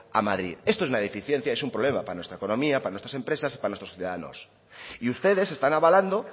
a madrid esto es una deficiencia y es un problema para nuestra economía para nuestras empresas y para nuestros ciudadanos y ustedes están avalando